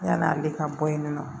Yann'ale ka bɔ yen nɔ